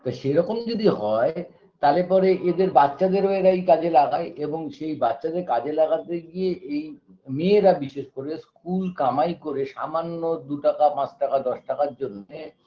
তা সেরকম যদি হয় তালে পরে এদের বাচ্চাদের ও এরা এই কাজে লাগায় এবং সেই বাচ্চাদের কাজে লাগাতে গিয়ে এই মেয়েরা বিশেষ করে school কামাই করে সামান্য দুটাকা পাঁচ টাকা দশ টাকার জন্যে